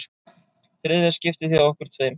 Þriðja skiptið hjá okkur tveim.